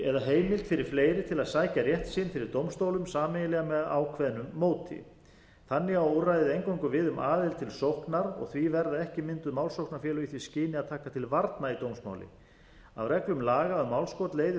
eða heimild fyrir fleiri til að sækja rétt sinn fyrir dómstólum sameiginlega með ákveðnu móti þannig á úrræðið eingöngu við um aðild til sóknar því verða ekki mynduð málsóknarfélög í því skyni að taka til varna í dómsmáli af reglum laga um málskot leiðir þó